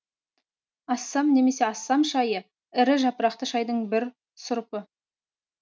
ассам немесе ассам шайы ірі жапырақты шайдың бір сұрыпы